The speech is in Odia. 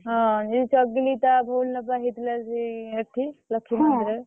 ହଁ ଦି ଚାରି ଦିନୀ ତଳେ ଭଉଣୀ ର ବା ହେଇଥିଲା ସେଇ ଏଠି ଲକ୍ଷ୍ମୀ ମନ୍ଦିର ରେ। ।